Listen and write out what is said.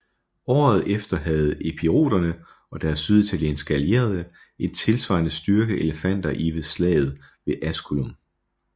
Året efter havde epiroterne og deres syditalienske allierede en tilsvarende styrke elefanter i ved slaget ved Asculum